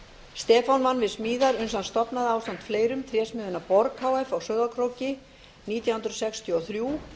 stefán vann við smíðar uns hann stofnaði ásamt fleirum trésmiðjuna borg h f á sauðárkróki nítján hundruð sextíu og þrjú